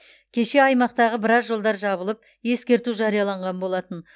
кеше аймақтағы біраз жолдар жабылып ескерту жарияланған болатын